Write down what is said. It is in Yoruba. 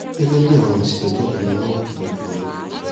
gẹgẹ bí àwọn èsì tó jáde ni wọn ó fi tọjú u yín